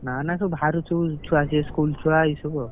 ନା ନା ସବୁ ବାହାରୁ ସବୁ ଛୁଆ ଆସିବେ school ଛୁଆ ଏଇ ସବୁ ଆଉ।